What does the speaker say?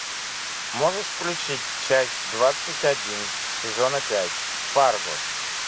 можешь включить часть двадцать один сезона пять фарго